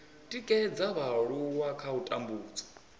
tikedza vhaaluwa kha u tambudzwa